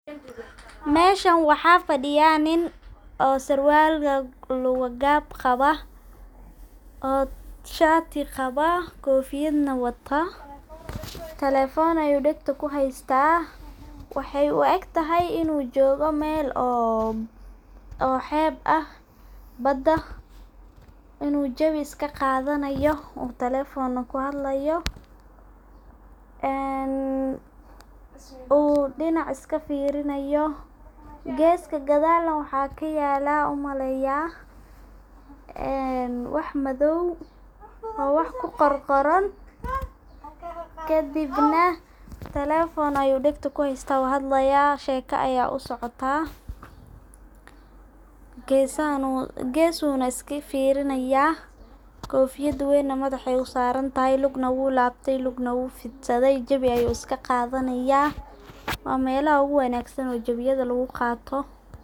Meshan waxa fadiya nin oo surwal lugu gab qawa oo shatii qaba ,kpfiyadna wata telephone ayu dagta kuhesta wahey u egtahay inu jogoo mel oo heb ah ,bada inu jawi iska qadanayo telephonaa uu kuhadlayo uu dinac iska firinaya, geska gadalna waxa kayalaa umaleynaya wax madow oo wax ku qorqoran kadibna telephone ayu dagta kuhesta wuu hadlaya sheka aya u socota. Geska ayu iska firinaya, kofiyad weyna madaxa ay u saran tahay lugna wuu labtay ,lugna wuu fidsaday jawii ayu iska qadanaya ,waa melaha ugu wanagsan oo jawiyaha lagu qato.